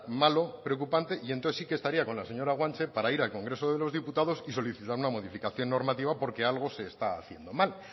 malo preocupante y entonces sí que estaría con la señora guanche para ir al congreso de los diputados y solicitar una modificación normativa porque algo se está haciendo mal